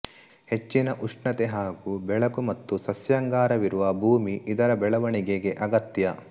ಹೆಚ್ಚಿನ ಉಷ್ಣತೆ ಹಾಗೂ ಬೆಳಕು ಮತ್ತು ಸಸ್ಯಾಂಗಾರವಿರುವ ಭೂಮಿ ಇದರ ಬೆಳೆವಣಿಗೆಗೆ ಅಗತ್ಯ